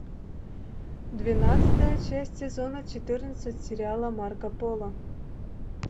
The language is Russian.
двенадцатая часть сезона четырнадцать сериала марко поло